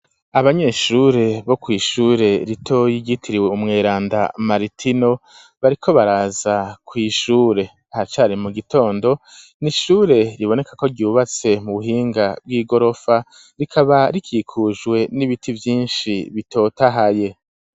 Abanyeshure bo kw'ishure ritoya ryigitiriwe umweranda Maritino bariko baraza kw'ishure haracari mu gitondo n'ishure riboneka ko ryubatse mu buhinga bw'igorofa rikaba rikikujwe n'ibiti vyishi bitotahaye.